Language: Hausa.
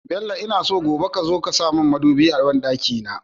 Bello ina so gobe kazo ka samun mudubi a banɗaki na